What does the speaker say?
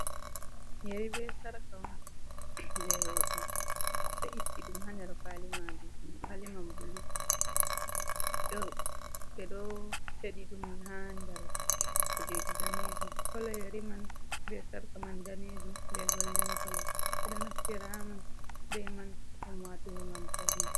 Yeri be sarka on, jey rooɓe, ɓe itti ɗum haa nder kwaali-maajum, kwaaliman bulu, ɓe ɗo feɗi ɗum haa nder kujeeji daneejum, kolo yeri man be sarka man daneejum, be goldin kolo, ɓe ɗo naftira on be man ɗum waatugo, ngam pawne.